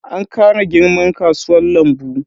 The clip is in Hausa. An kara girman kasuwan lambu.